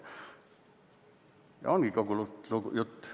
Ja ongi kogu jutt.